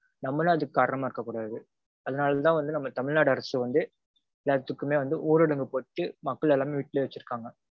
நம்மலும் அதுக்கு காரணமா இருக்க கூடாது. அதனாலதா வந்து நம்ம தமிழ்நாடு அரசு வந்து எல்லாத்துக்குமே வந்து ஊரடங்கு போட்டுட்டு மக்கள் எல்லாமே வீட்டிலயே வச்சிருக்காங்க.